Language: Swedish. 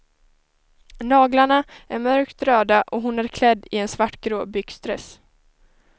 Naglarna är mörkt röda och hon är klädd i en svartgrå byxdress.